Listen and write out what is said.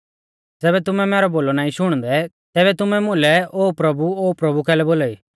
ज़ैबै तुमै मैरौ बोलौ नाईं शुणदै तैबै तुमै मुलै ओ प्रभुओ प्रभु कैलै बोलाई